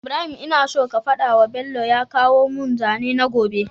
Ibrahim ina so ka fadawa bello ya kawo mun zane na gobe